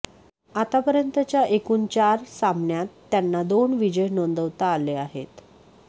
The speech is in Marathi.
आतापर्यंतच्या एकूण चार सामन्यांत त्यांना दोन विजय नोंदवता आले आहेत